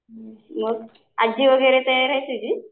मग आज्जी वगैरे तयार आहे तुझी?